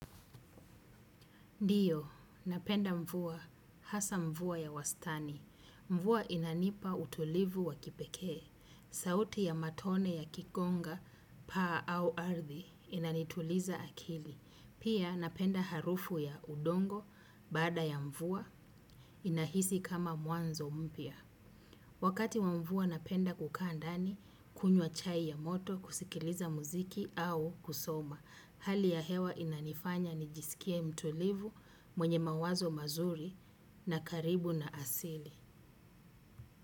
Ndiyo, napenda mvua, hasa mvua ya wastani. Mvua inanipa utulivu wa kipekee. Sauti ya matone yakikonga, paa au ardhi, inanituliza akili. Pia napenda harufu ya udongo, baada ya mvua, inahisi kama mwanzo mpya. Wakati wa mvua napenda kukaa ndani, kunywa chai ya moto, kusikiliza muziki au kusoma. Hali ya hewa inanifanya nijisikie mtulivu mwenye mawazo mazuri na karibu na asili.